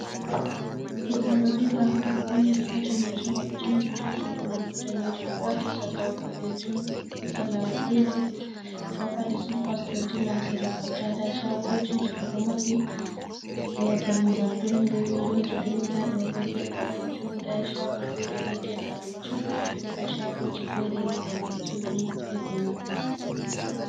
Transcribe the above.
Godo do dilla odboniri katanijum odo cogi kujajugomkodanjuoti l bodejupete do padi sipas odo dilla sira kwalta da shagoji ji dodo mabbi lordammugal gren be vindoji green dadob ged bode jum da shago fere ni ged balejum da chagoji fere balejumdgeddo mabbi.